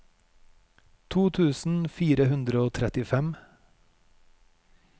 to tusen fire hundre og trettifem